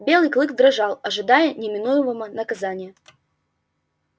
белый клык дрожал ожидая неминуемого наказания